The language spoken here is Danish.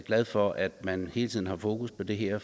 glad for at man hele tiden har fokus på det her